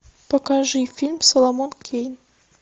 покажи фильм соломон кейн